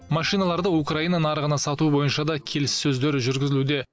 машиналарды украина нарығына сату бойынша да келіссөздер жүргізілуде